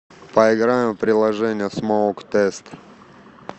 поиграем в приложение смоук тест